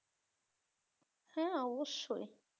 হ্যাঁ অবশ্যই